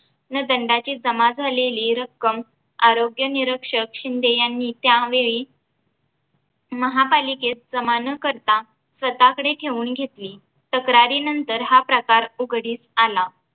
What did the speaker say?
न दंडाची जमा झालेली रक्कम आरोग्य निरक्षक शिंदे यांनी त्यावेळी महापालिकेत जमा न करता स्वतःकडे ठेऊन घेतली तक्रारीनंतर हा प्रकार उघडीस आला